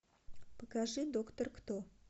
покажи доктор кто